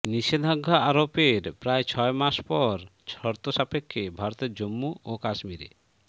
নিষেধাজ্ঞা আরোপের প্রায় ছয় মাস পর শর্তসাপেক্ষে ভারতের জম্মু ও কাশ্মীরে